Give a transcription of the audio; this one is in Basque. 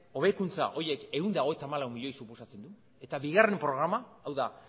hobekuntza horiek ehun eta hogeita hamalau milioi suposatzen du eta bigarren programa hau da